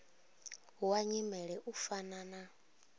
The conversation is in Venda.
wa nyimele u fana na